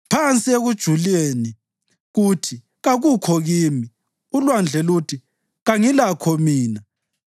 Phansi ekujuleni kuthi, “Kakukho kimi”; ulwandle luthi, “Kangilakho mina.”